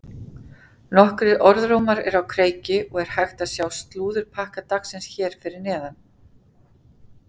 Nokkrir orðrómar eru á kreiki og er hægt að sjá slúðurpakka dagsins hér fyrir neðan.